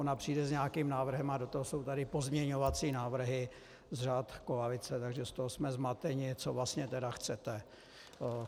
Ona přijde s nějakým návrhem a do toho jsou tady pozměňovací návrhy z řad koalice, takže z toho jsme zmateni, co vlastně tedy chcete.